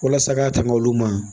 Walasa ka tɛmɛ olu ma